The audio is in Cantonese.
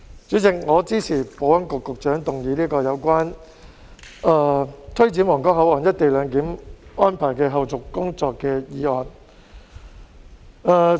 主席，我支持保安局局長動議這項有關推展皇崗口岸「一地兩檢」安排的後續工作的議案。